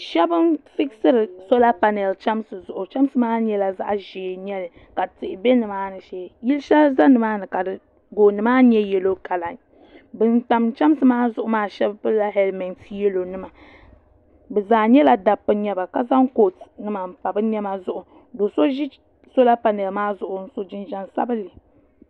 shab n figisiri soola panɛl chɛmsi zuɣu chɛmsi maa nyɛla zaɣ ʒiɛ n nyɛli ka tihi ʒɛ nimaani shee yili shɛli ʒɛ nimaani ka gooni maa nyɛ yɛlo kala bin tam chɛmsi maa zuɣu maa pilila hɛlmɛnti yɛlo nima bi zaa nyɛla dabba n nyɛba ka zaŋ koot n pa bi niɛma zuɣu do so ʒi soola panɛl maa zuɣu ka yɛ koot n so jinjɛm sabinli